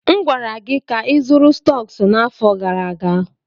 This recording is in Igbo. M gwara gị ka ịzụrụ stọks n'afọ gara aga!